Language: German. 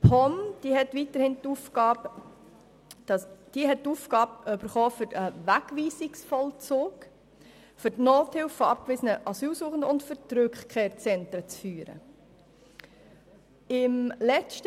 Die POM hat folgende Aufgaben erhalten: Wegweisungsvollzug, Nothilfe für abgewiesene Asylsuchende und die Führung der Rückkehrzentren.